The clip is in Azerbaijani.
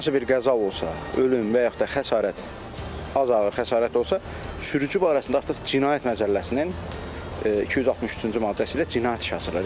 Hər hansı bir qəza olsa, ölüm və yaxud da xəsarət az ağır xəsarət olsa, sürücü barəsində artıq cinayət məcəlləsinin 263-cü maddəsi ilə cinayət işi açılır.